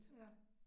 Ja